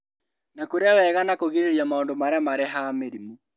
Na kũrĩa wega na kũgirĩrĩria maũndũ marĩa marehaga mĩrimũ